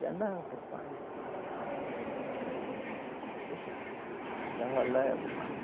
Ah não, papai. Aí ele dizia, deixava, ficava lá